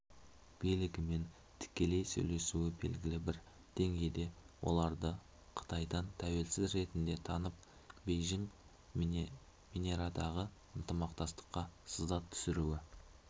билігімен тікелей сөйлесуі белгілі бір деңгейде оларды қытайдан тәуелсіз ретінде танып бейжіңменарадағы ынтымақтастыққа сызат түсіруі